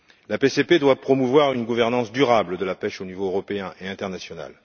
La PCP doit promouvoir une gouvernance durable de la pêche au niveau européen et international.